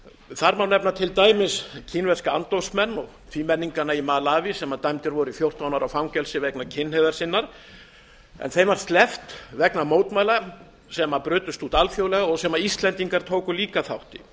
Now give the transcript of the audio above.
þar má nefna til dæmis kínverska andófsmenn og tvímenningana í malaví sem dæmdir voru í fjórtán ára fangelsi vegna kynhneigðar en þeim var sleppt vegna mótmæla sem brutust út alþjóðlega og sem íslendingar tóku líka þátt